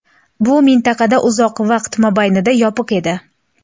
Bu mintaqa uzoq vaqt mobaynida yopiq edi.